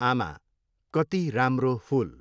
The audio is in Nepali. आमा, कति राम्रो फूल!